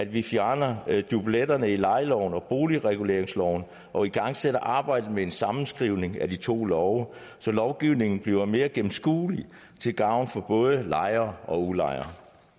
vi fjerner dubletterne i lejeloven og boligreguleringsloven og igangsætter arbejdet med en sammenskrivning af de to love så lovgivningen bliver mere gennemskuelig til gavn for både lejere og udlejere